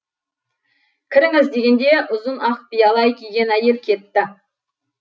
кіріңіз дегенде ұзын ақ биялай киген әйел кетті